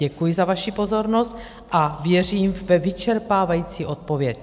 Děkuji za vaši pozornost a věřím ve vyčerpávající odpověď.